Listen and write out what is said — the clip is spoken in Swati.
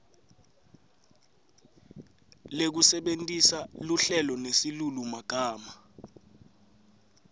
lekusebentisa luhlelo nesilulumagama